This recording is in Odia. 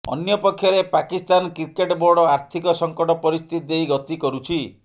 ଅନ୍ୟପକ୍ଷରେ ପାକିସ୍ତାନ କ୍ରିକେଟ ବୋର୍ଡ ଆର୍ଥିକ ସଙ୍କଟ ପରିସ୍ଥିତି ଦେଇ ଗତି କରୁଛି